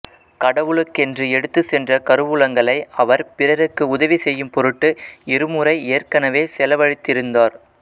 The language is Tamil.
கடவுளுக்கென்று எடுத்துச் சென்ற கருவூலங்களை அவர் பிறருக்கு உதவிசெய்யும் பொருட்டு இருமுறை ஏற்கெனவே செலவழித்திருந்தார்